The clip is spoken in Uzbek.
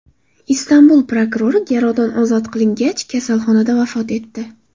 Istanbul prokurori garovdan ozod qilingach, kasalxonada vafot etdi.